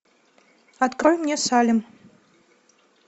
открой мне салем